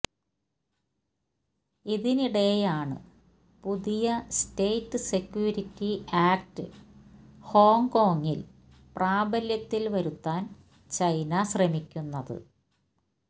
ഇതിനിടെയാണ് പുതിയ state security act ഹോങ്കോംഗിൽ പ്രാബല്യത്തിൽ വരുത്താൻ ചൈന ശ്രമിക്കുന്നത്